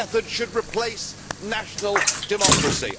should replace national democracy?